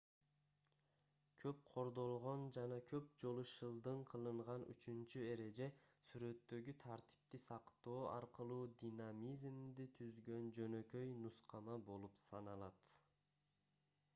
көп кордолгон жана көп жолу шылдың кылынган үчүнчү эреже сүрөттөгү тартипти сактоо аркылуу динамизмди түзгөн жөнөкөй нускама болуп саналат